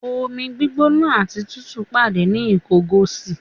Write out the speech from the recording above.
Omi gbígbóná àti tútù pàdé ní Ìkọgòsì.